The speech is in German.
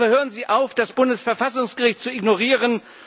Aber hören Sie auf, das Bundesverfassungsgericht zu ignorieren!